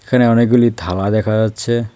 এখানে অনেকগুলি থালা দেখা যাচ্ছে।